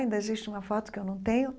Ainda existe uma foto que eu não tenho.